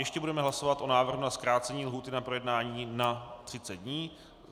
Ještě budeme hlasovat o návrhu na zkrácení lhůty na projednání na 30 dní.